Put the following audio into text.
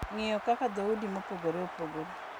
Ng’iyo kaka dhoudi mopogore opogore